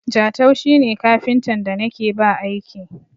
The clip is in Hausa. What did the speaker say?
Jatau shi ne kafintan da na ke ba aiki.